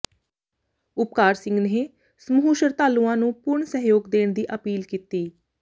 ਉਪਕਾਰ ਸਿੰਘ ਨੇ ਸਮੂਹ ਸ਼ਰਧਾਲੂਆਂ ਨੂੰ ਪੂਰਨ ਸਹਿਯੋਗ ਦੇਣ ਦੀ ਅਪੀਲ ਕੀਤੀ